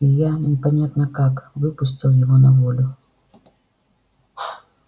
и я непонятно как выпустил его на волю